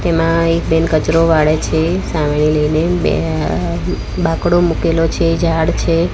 તેમાં એક બેન કચરો વાળે છે સાવરણી લઈને બે બાકડો મુકેલો છે ઝાડ છે.